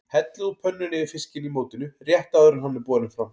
Hellið úr pönnunni yfir fiskinn í mótinu rétt áður en hann er borinn fram.